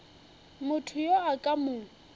motho yo a ka mo